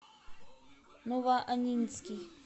новоаннинский